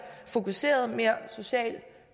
fokuseret mere socialt